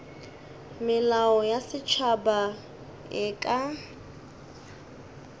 melao ya setšhaba e ka